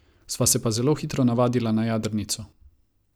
Sva se pa zelo hitro navadila na jadrnico.